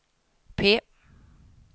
P